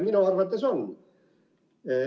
Minu arvates on.